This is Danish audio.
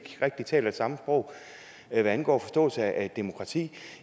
rigtig taler samme sprog hvad angår forståelsen af et demokrati